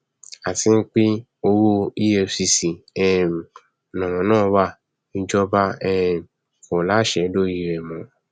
àti pé owó efcc um lọrọ náà wá ìjọba um kò láṣẹ lórí rẹ mọ